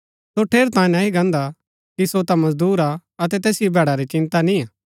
सो ठेरैतांये नह्ई गान्दा कि सो ता मजदूर हा अतै तैसिओ भैडा री चिन्ता निय्आ